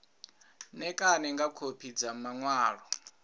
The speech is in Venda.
ṋekane nga khophi dza maṅwalo